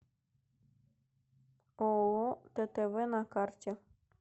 ооо ттв на карте